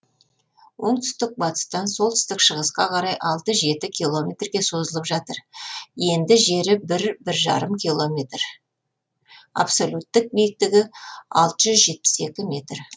оңтүстік батыстан солтүстік шығысқа қарай алты жеті километрге созылып жатыр енді жері бір бір жарым километр абсолюттік биіктігі алты жүз жетпіс екі метр